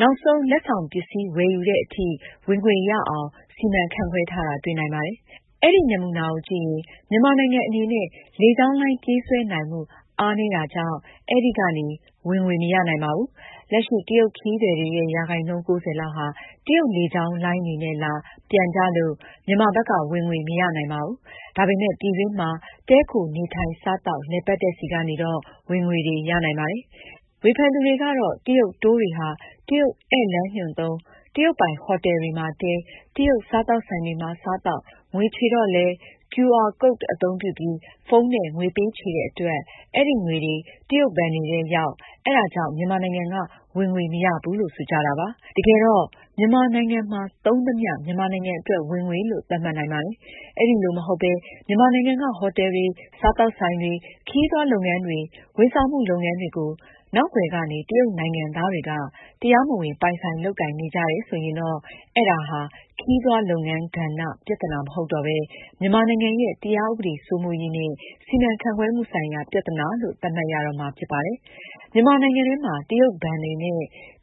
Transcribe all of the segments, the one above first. နောက်ဆုံး လက်ဆောင်ပစ္စည်း ဝယ်ယူသည်အထိ ဝင်ငွေရအောင် စီမံခန့်ခွဲထားတာ တွေ့နိုင်ပါတယ်။ အဲဒီ နမူနာကိုကြည့်ရင် မြန်မာနိုင်ငံအနေနဲ့ လေကြောင်းလိုင်း ပြေးဆွဲနိုင်မှု အားနည်းတာကြောင့် အဲဒီကနေ ဝင်ငွေ မရနိုင်ပါဘူး။ လက်ရှိ တရုတ် ခရီးသည်တွေရဲ့ ရာခိုင်နှုန်း ၉၀ လောက်ဟာ တရုတ်လေကြောင်းလိုင်းတွေနဲ့လာ၊ ပြန်ကြလို့ မြန်မာဘက်က ဝင်ငွေ မရနိုင်ပါဘူး။ ဒါပေမယ့် ပြည်တွင်းမှာ တည်းခို၊ နေထိုင်၊ စားသောက်၊ လည်ပတ် တဲ့ဆီကနေတော့ ဝင်ငွေတွေ ရနိုင်ပါတယ်။ ဝေဖန်သူတွေကတော့ တရုတ် Tour တွေဟာ တရုတ်ဧည့်လမ်းညွှန်သုံး၊ တရုတ်ပိုင် ဟိုတယ်တွေမှာတည်း၊ တရုတ်စားသောက်ဆိုင်တွေမှာ စားသောက်၊ ငွေချေတော့လည်း QR Code အသုံးပြုပြီး ဖုန်းနဲ့ ငွေပေးချေတဲ့အတွက် အဲဒီ ငွေတွေ တရုတ်ဘဏ်တွေထဲရောက်၊ အဲဒါကြောင့် မြန်မာနိုင်ငံက ဝင်ငွေ မရဘူးလို့ ဆိုကြတာပါ။ တကယ်တော့ မြန်မာနိုင်ငံမှာ သုံးသမျှ မြန်မာနိုင်ငံအတွက် ဝင်ငွေလို့ သတ်မှတ်နိုင်ပါတယ်။ အဲဒီလို မဟုတ်ပဲ မြန်မာနိုင်ငံက ဟိုတယ်တွေ၊ စားသောက်ဆိုင်တွေ၊ ခရီးသွားလုပ်ငန်းတွေ၊ ဝန်ဆောင်မှု လုပ်ငန်းတွေကို နောက်ကွယ်ကနေ တရုတ်နိုင်ငံသားတွေက တရားမဝင် ပိုင်ဆိုင် လုပ်ကိုင်နေကြတယ် ဆိုရင်တော့ အဲဒါဟာ ခရီးသွားလုပ်ငန်း ကဏ္ဍ ပြသနာ မဟုတ်တော့ပဲ မြန်မာနိုင်ငံရဲ့ တရားဥပဒေ စိုးမိုးရေးနဲ့ စီမံခန့်ခွဲမှုဆိုင်ရာ ပြသနာလို့ သတ်မှတ်ရတော့မှာ ဖြစ်ပါတယ်။ မြန်မာနိုင်ငံထဲမှာ တရုတ်ဘဏ်တွေနဲ့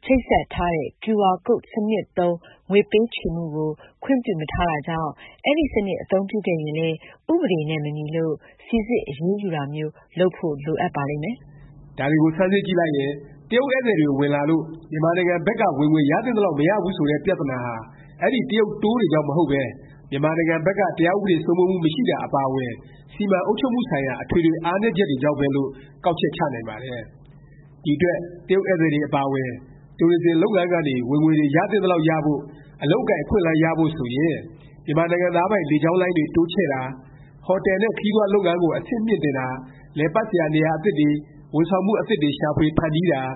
ချိတ်ဆက်ထားတဲ့ QR Code စနစ်သုံး ငွေပေးချေမှု ကို ခွင့်ပြုမထားတာကြောင့် အဲဒီ စနစ် အသုံးပြုခဲ့ရင်လည်း ဥပဒေနဲ့ မညီလို့ စိစစ်အရေးယူတာမျိုး လုပ်ဖို့ လိုပါလိမ့်မယ်။ ဒါတွေကို ဆန်းစစ်ကြည့်လိုက်ရင် တရုတ်ဧည့်သည်တွေ ဝင်လာလို့ မြန်မာနိုင်ငံဘက်က ဝင်ငွေ ရသင့်သလောက် မရဘူး ဆိုတဲ့ ပြသနာဟာ အဲဒီ တရုတ် Tour တွေကြောင့်မဟုတ်ပဲ မြန်မာနိုင်ငံဘက်က တရားဥပဒေ စိုးမိုးမှု မရှိတာ အပါအဝင် စီမံ အုပ်ချုပ်မှုဆိုင်ရာ အထွေထွေ အားနည်းချက်တွေကြောင့်ပဲလို့ ကောက်ချက်ချနိုင်ပါတယ်။ ဒီအတွက် တရုတ်ဧည့်သည်တွေ အပါအဝင် Tourism လုပ်ငန်းကနေ ဝင်ငွေတွေ ရသင့်သလောက် ရဖို့၊ အလုပ်အကိုင် အခွင့်အလမ်းတွေ ရဖို့ ဆိုရင် မြန်မာနိုင်ငံသားပိုင် လေကြောင်းလိုင်းတွေ တိုးချဲ့တာ၊ ဟိုတယ် နဲ့ ခရီးသွားလုပ်ငန်းကို အဆင့်မြှင့်တင်တာ၊ လည်ပတ်စရာ နေရာ အသစ်တွေ၊ ဝန်ဆောင်မှု အသစ်တွေ ရှာဖွေ ဖန်တီးတာ၊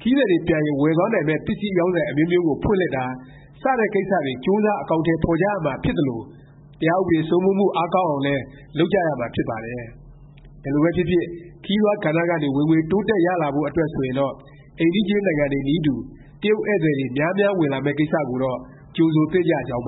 ခရီးသည်တွေ ပြန်ရင် ဝယ်သွားနိုင်မယ့် ပစ္စည်းအရောင်းဆိုင် အမျိုးမျိုးကို ဖွင့်လှစ်တာ စတဲ့ကိစ္စတွေ ကြိုးစား အကောင်အထည် ဖော်ကြရမှာ ဖြစ်သလို တရားဥပဒေ စိုးမိုးမှု အားကောင်းအောင်လည်း လုပ်ကြရမှာ ဖြစ်ပါတယ်။ ဘယ်လိုပဲဖြစ်ဖြစ် ခရီးသွား ကဏ္ဍကနေ ဝင်ငွေ တိုးတက် ရလာဖို့အတွက် ဆိုရင်တော့ အိမ်နီးချင်း နိုင်ငံတွေနည်းတူ တရုတ်ဧည့်သည်တွေ များများ ဝင်လာမယ့် ကိစ္စကိုတော့ ကြိုဆိုသင့်ကြကြောင်း